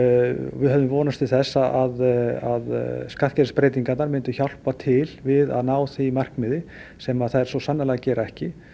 við höfðum vonast til þess að skattkerfisbreytingarnar myndu hjálpa til við að ná því markmiði sem að þær svo sannarlega gera ekki